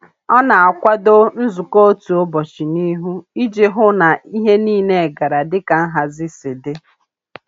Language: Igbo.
Ọ na-akwado nzukọ otu ụbọchị n'ihu iji hụ na ihe niile gara dịka nhazi si dị.